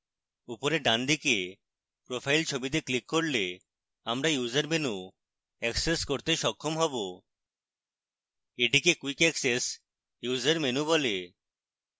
উপরে ডানদিকের profile ছবিতে ক্লিক করলে আমরা user menu অ্যাক্সেস করতে সক্ষম হবে এটিকে quick access user menu বলে